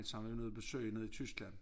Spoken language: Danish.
Som vi var nede og besøge nede i Tyskland